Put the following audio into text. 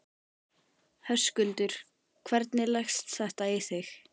Höskuldur: Hvernig leggst þetta í þig?